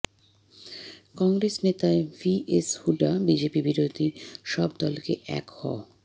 কংগ্রেস নেতা VS Hooda BJP বিরোধী সব দলকে এক হ